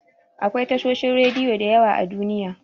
Akwai tashoshin rediyo da yawa a Duniya.